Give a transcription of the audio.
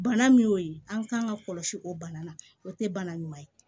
Bana min y'o ye an kan ka kɔlɔsi o bana la o tɛ bana ɲuman ye